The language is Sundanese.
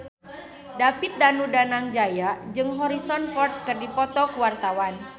David Danu Danangjaya jeung Harrison Ford keur dipoto ku wartawan